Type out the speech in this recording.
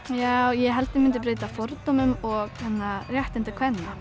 ég held ég myndi breyta fordómum og réttindi kvenna